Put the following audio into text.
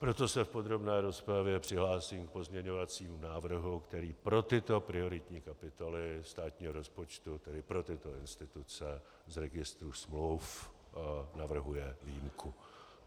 Proto se v podrobné rozpravě přihlásím k pozměňovacímu návrhu, který pro tyto prioritní kapitoly státního rozpočtu, tedy pro tyto instituce, z Registru smluv navrhuje výjimku.